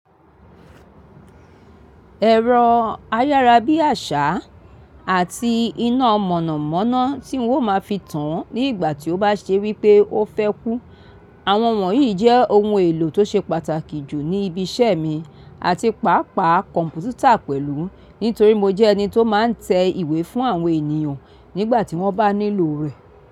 Ẹ̀rọ ayárabíàṣá àti iná mọ̀nàmọ́ná tí n ó máa fi tàn án ní ìgbà tí ó bá ṣe wípé ó fẹ́ kú. Àwọn wọ̀nyí jẹ́ ohun èlò tó ṣe pàtàkì jù ní ibi iṣẹ́ mi àti pàápàá kọ̀m̀pútà pẹ̀lú nítorí mo jẹ́ ẹni tó máa ń tẹ ìwé fún àwọn ènìyàn nígbà tí wọ́n bá nílò rẹ̀